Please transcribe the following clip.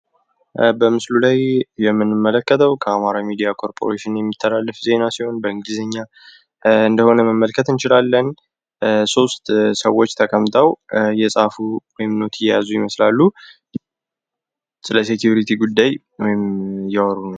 በምስሉ ላይ የምንመለከተው በአማራ ሚዲያ ኮርፖሬሽን የሚተላለፍ ሲሆን በእንግሊዝኛ እንደሆነ መመልከት እንችላለን። ሶስት ሰዎች ተቀምጠው እየጻፉ ኖት እየያዙ ይመስላሉ። ስለሰሴኩሪቲ ጉዳይ እያወሩ።